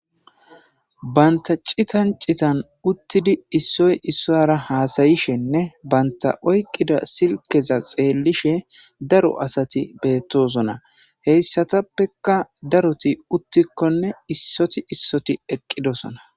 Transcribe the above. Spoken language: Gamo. Banta citan citan uttidi issoy issora haasayishenne banta oyqida silkeza xeellishe daro asati beettosona heyssatappeka daroti uttikkonne issoti issoti eqqidosona.